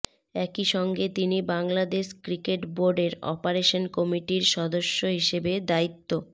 একই সঙ্গে তিনি বাংলাদেশ ক্রিকেট বোর্ডের অপারেশন কমিটির সদস্য হিসেবে দায়িত্ব